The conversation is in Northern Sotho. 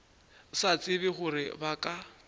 sa tsebe gore ba ka